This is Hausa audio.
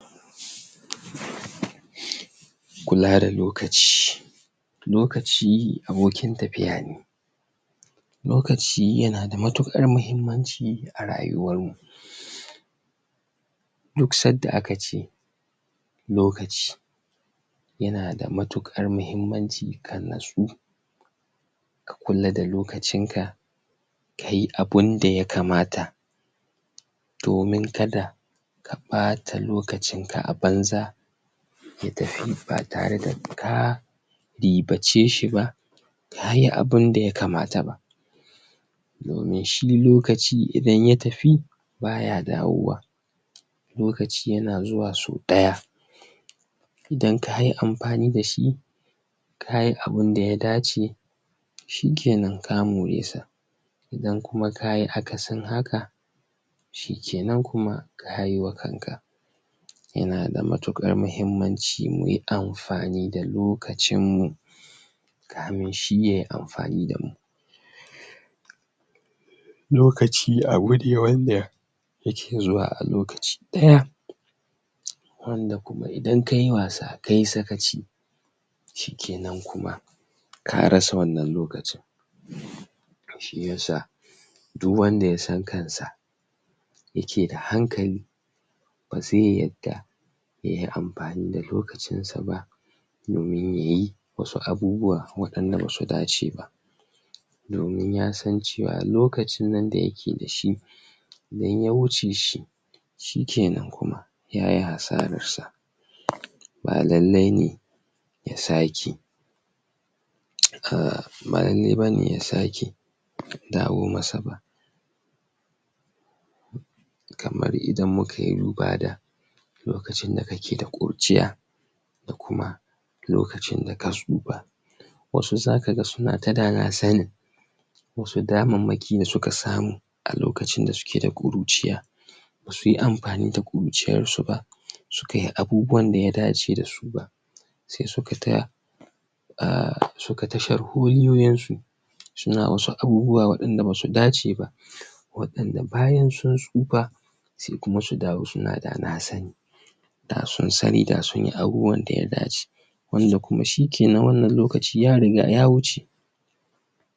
kulada lokaci lakaci abokin tafiya ne lokaci yanada matukar mahimmanci a rayuwan mu duk sanda akace lokaci yanada matukar mahimmanci ka natsu ka kula da lokacin ka kayi abunda yakamata domin kada ka ɓata lokacin ka abanza ya tafi batare da ka riɓaceshi ba kayi abunda yakamata ba domin shi lokaci idan ya tafi baya dawowa lokaci yana zuwa so daya idan kayi anfani dashi kayi abunda ya dace shikinan ka more ta idan kuma kayi akasin haka shikenan kayi wa kanka yanada matuƙar mahimmanci muyi anfani da lokacin mu kamunshi yayi anfani damu lokaci abune wanda yaki zuwa alokaci ɗaya wanda kuma idan kayi wasa kayi sakaci shikinan kuma karasa wannan lokacin shiyasa duk wanda yasan kansa yakeda hankali baze yadda yayi anfani da lokacin saba domin yayi wasu abubuwa wainda basu dace ba domin yasan ciwa lokacin nan da yake dashi idan ya wuce shikenan kuma yayi asaran sa balale ne yasake uhm balale bane yasake dawo masa ba kamar idan mukayi lurada lokacin da kake da ƙuru ciya da kuma lokacin da ka tsufa wasu zakaga sunata danasani wasu daman maki dasuka samu alokacin dasuki da ƙuruciya basuyi anfani da ƙuruciyan suba sukayi abubuwan da ya dace dasu ba sai sukata uhm sukata sharholiyoyin su suna wasu abubuwa wainda basu dace ba waidan bayansun tsufa sai kuma su dawo suna danasani dasunsani da sunyi abubuwan da yadaci wanda kuma shikenan wannan lokaci ya riga ya wuce